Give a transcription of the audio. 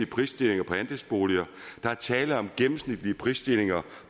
prisstigninger på andelsboliger der er tale om gennemsnitlige prisstigninger